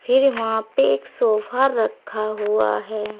फिर वहां पे एक सोफा रखा हुआ है।